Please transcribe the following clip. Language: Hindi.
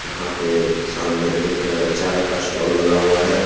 यहां पे सामने एक चाय का स्टाल लगा हुआ है।